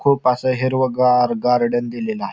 खूप अस हिरवगार गार्डन दिलेल आहे.